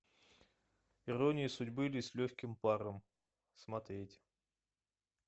ирония судьбы или с легким паром смотреть